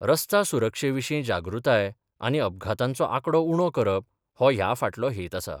रस्ता सुरक्षे विशीं जागृताय आनी अपघातांचो आंकडो उणो करप हो ह्या फाटलो हेत आसा.